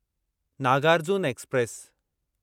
Nagarjuna express